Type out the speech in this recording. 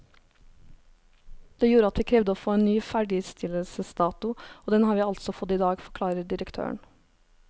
Det gjorde at vi krevde å få en ny ferdigstillelsesdato, og den har vi altså fått i dag, forklarer direktøren.